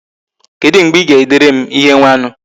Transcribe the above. kedu mgbe I ga-edere m ihe nwanu?